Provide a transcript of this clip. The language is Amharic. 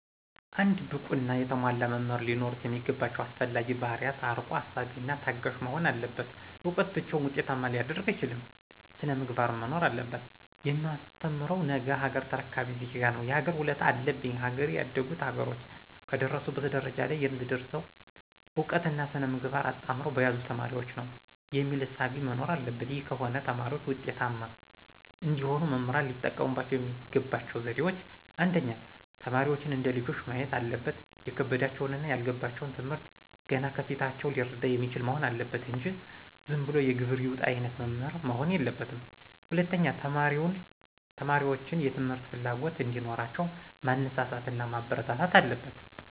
አንድ ብቁና የተሟላ መምህር ሊኖሩት የሚገባው አስፈላጊ ባህርያት አርቆ አሳቢና ታጋሽ መሆን አለበት እውቀት ብቻውን ዉጤታማ ሊያደርግ አይችልም ሥነ-ምግባርም መኖር አለበት። የማስተምረው ነገሀገር ተረካቢ ዜጋ ነው የሀገር ውለታ አለብኝ ሀገሬ ያደጉት ሀገሮች ከደረሱበት ደረጃ ለይ የምትደርሰው እውቀትና ሥነ-ምግባር አጣምረው በያዙ ተማሪዎች ነው። የሚል እሳቤ መኖር አለበት ይህ ከሆነ ተማሪዎች ውጤታማ እንዲሆኑ መምህራን ሊጠቀሙ የሚገባቸው ዘዴዎች :1. ተማሪዎችን እንደ ልጆቹ ማየት አለበት የከበዳቸውንና ያልገባቸውን ትምህርት ገና ከፊታቸው ሊረዳ የሚችል መሆን አለበት እንጂ ዝንብሎ የግብር ይውጣ አይነት መምህር መሆን የለበትም። 2. ተማሪዎችን የትምህርት ፍላጎት እዲኖራቸው ማነሳሳት ማበረታታት አለበት።